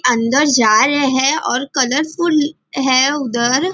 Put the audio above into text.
अंदर जा रहे हैं और कलरफूल है उधर.